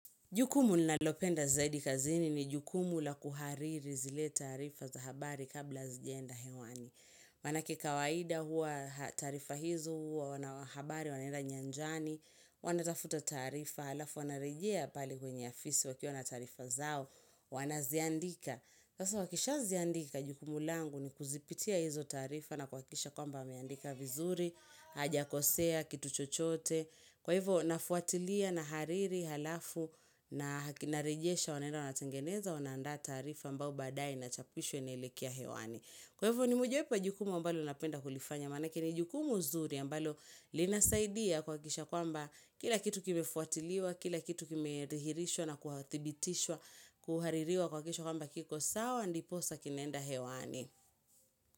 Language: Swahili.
Jukumu ninalopenda zaidi kazini ni jukumu la kuhariri zile taarifa za habari kabla zijaenda hewani. Manake kawaida hua taarifa hizo hua wanahabari wanenda nyanjani, wanatafuta taarifa, halafu wanarejea pale kwenye afisi wakiwa na taarifa zao, wanaziandika. Sasa wakisha ziandika jukumu langu ni kuzipitia hizo taarifa na kuhakisha kwamba wameandika vizuri, hajakosea, kitu chochote. Kwa hivyo, nafuatilia, na hariri, halafu, na hak na rejesha, wanaenda, wanatengeneza, wanaanda taarifa mbao badae nachapishwe, naelekea hewani. Kwa hivo, ni mojawepo ya jukumu ambalo napenda kulifanya, manake ni jukumu zuri ambalo linasaidia kuhakisha kwamba kila kitu kimefuatiliwa, kila kitu kimedhihirishwa na kuhathibitishwa, kuhaririwa kwa kesho kwamba kiko sawa, ndiposa kinaenda hewani.